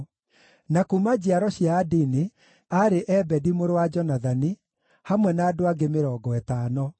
na kuuma njiaro cia Adini, aarĩ Ebedi mũrũ wa Jonathani, hamwe na andũ angĩ 50;